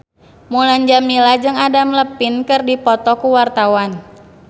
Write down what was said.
Mulan Jameela jeung Adam Levine keur dipoto ku wartawan